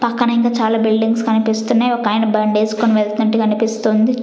పక్కన ఇంకా చాలా బిల్డింగ్స్ కనిపిస్తున్నాయి ఒకాయన బండేసుకుని వెళ్తుంటే కనిపిస్తుంది.